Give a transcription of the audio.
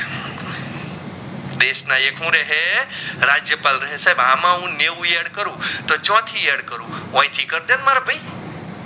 દેશ ના એક હું રેહે રાજયપાલ રહસે આમાં હું નેવ add કરું તો ચોથી add ઓયે થી કાર ડે મારા ભાઈ